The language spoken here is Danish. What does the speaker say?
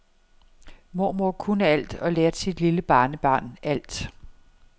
Mormor kunne alt og lærte sit lille barnebarn alt.